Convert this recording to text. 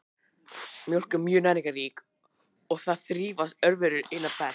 Mjólk er mjög næringarrík og þar þrífast örverur einna best.